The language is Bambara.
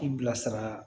I bilasira